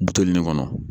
Buluni kɔnɔ